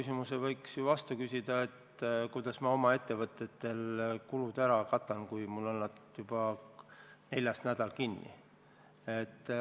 Samamoodi võiksin ju vastu küsida, et kuidas ma oma ettevõtetel need kulud katan, kui nad on mul juba neljandat nädalat kinni.